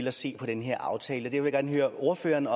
at se på den her aftale jeg vil gerne høre ordføreren